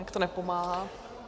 Nějak to nepomáhá.